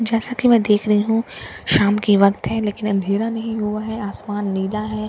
जैसा कि मैं देख रही हूं शाम की वक्त है लेकिन अंधेरा नहीं हुआ है आसमान नीला है।